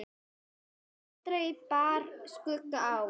Aldrei bar skugga á.